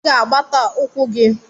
Ị ga-agbata ukwu gi